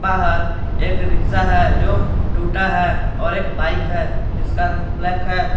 बाहर एक रिक्शा है जो टूटा है और एक बाइक है जिसका रंग ब्लैक है।